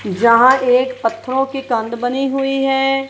जहां एक पत्थरों की कंद बनी हुई है।